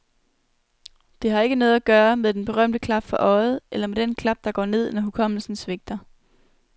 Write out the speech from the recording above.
Det har ikke noget at gøre med den berømte klap for øjet eller med den klap, der går ned, når hukommelsen svigter.